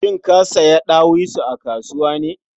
Shin ka siya ɗawisu a kasuwa ne?